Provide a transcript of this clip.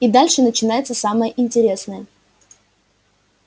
и дальше начинается самое интересное